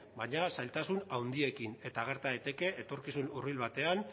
baina zailtasun handiekin eta gerta daiteke etorkizun hurbil batean